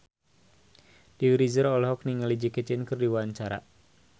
Dewi Rezer olohok ningali Jackie Chan keur diwawancara